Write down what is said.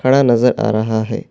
کھڑا نظر آ رہا ہے۔